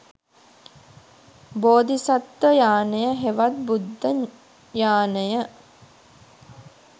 බෝධිසත්ව යානය හෙවත් බුද්ධ යානය